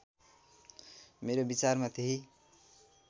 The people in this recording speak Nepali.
मेरो विचारमा त्यही